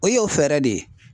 O y'o fɛɛrɛ de.